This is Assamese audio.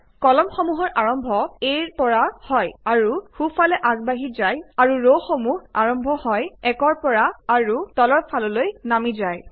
কলামসমূহৰ আৰম্ভ A ৰ পৰা হয় আৰু সোঁফাললৈ আগবাঢ়ি যায় আৰু ৰসমূহ আৰম্ভ হয় 1ৰ পৰা আৰু তলৰ ফাললৈ নামি যায়